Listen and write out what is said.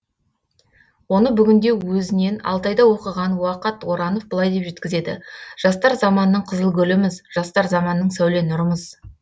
оны бүгінде өзінен алтайда оқыған уақат оранов былай деп жеткізеді жастар заманның қызыл гүліміз жастар заманның сәуле нұрымыз